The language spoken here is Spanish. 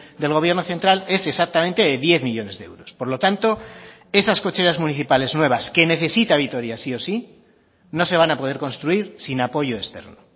del gobierno central es exactamente de diez millónes de euros por lo tanto esas cocheras municipales nuevas que necesita vitoria sí o sí no se van a poder construir sin apoyo externo